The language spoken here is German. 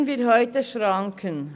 Setzen wir heute Schranken!